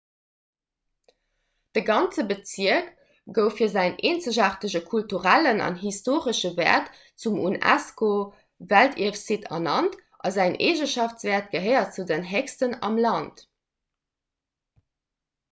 de ganze bezierk gouf fir säin eenzegaartege kulturellen an historesche wäert zum unesco-weltierfsitte ernannt a säin eegeschaftswäert gehéiert zu den héchsten vum land